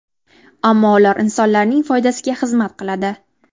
Ammo ular insonlarning foydasiga xizmat qiladi.